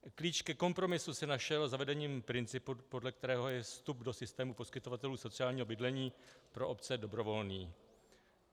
Klíč ke kompromisu se našel zavedením principu, podle kterého je vstup do systému poskytovatelů sociálního bydlení pro obce dobrovolný.